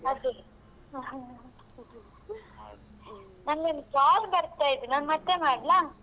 ಅದೇ ನಂಗೊಂದ್ call ಬರ್ತಾ ಇದೆ ನಾನ್ ಮತ್ತೆ ಮಾಡ್ಲಾ?